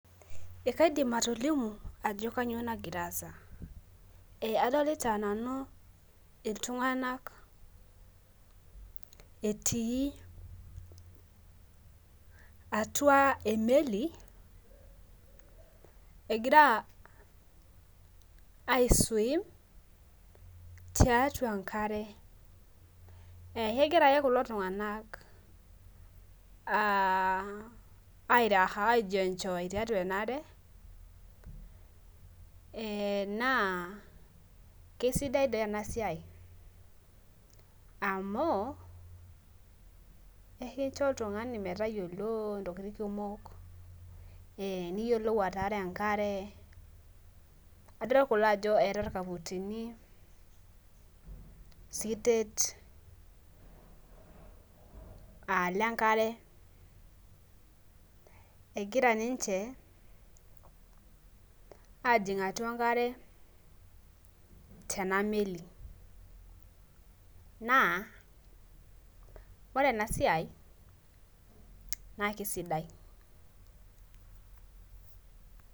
Ee kaidim atolimu ajo kainyoo nagira aasa. Adolita nanu iltung'anak etii atua emeli egira ai swim taitua enkare. Egira ake kulo tung'anak ai raha aijienjoy tiatua ena are naa kisidai doii ena siai amu kincho oltung'ani tayiolo intokitin kumok nitum ataara enkare adol kulo ajo eeta irkaputini sitet aa lenkare egira ninche ajing atua enkare tena meli. Ore ena siai naa kisidai.